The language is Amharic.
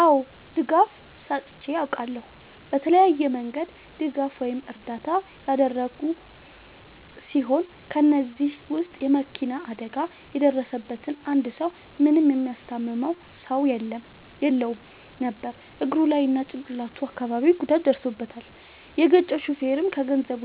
አዎ ድጋፍ ሰጥቼ አውቃለሁ። በተለያየ መንገድ ድጋፍ ወይም እርዳታ ያደረግሁ ሲሆን ከ እነዚህም ውስጥ የ መኪና አደጋ የደረሠበትን አንድ ሰው ምንም የሚያስታምመው ሰው የለውም ነበር እግሩ ላይ እና ጭቅላቱ አካባቢ ጉዳት ደርሶበታል። የገጨው ሹፌርም ከገንዘብ